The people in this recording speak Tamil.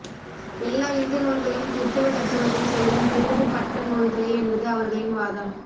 எல்லா இந்து நூல்களும் கிறித்தவ தத்துவத்தைச் சொல்லும் திரிபு பட்ட நூல்களே என்பது அவர்களின் வாதம்